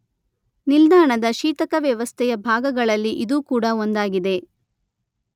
ನಿಲ್ದಾಣದ ಶೀತಕ ವ್ಯವಸ್ಥೆಯ ಭಾಗಗಳಲ್ಲಿ ಇದೂ ಕೂಡ ಒಂದಾಗಿದೆ.